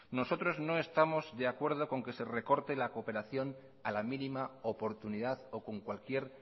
nosotros no estamos de acuerdo con que se recorte la cooperación a la mínima oportunidad o con cualquier